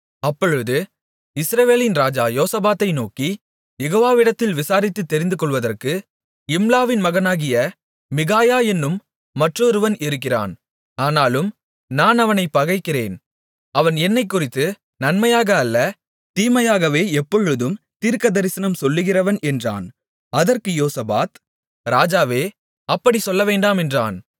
அப்பொழுது இஸ்ரவேலின் ராஜா யோசபாத்தை நோக்கி யெகோவாவிடத்தில் விசாரித்துத் தெரிந்துகொள்வதற்கு இம்லாவின் மகனாகிய மிகாயா என்னும் மற்றொருவன் இருக்கிறான் ஆனாலும் நான் அவனைப் பகைக்கிறேன் அவன் என்னைக்குறித்து நன்மையாக அல்ல தீமையாகவே எப்பொழுதும் தீர்க்கதரிசனம் சொல்லுகிறவன் என்றான் அதற்கு யோசபாத் ராஜாவே அப்படிச் சொல்லவேண்டாம் என்றான்